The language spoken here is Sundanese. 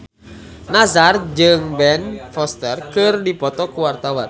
Nassar jeung Ben Foster keur dipoto ku wartawan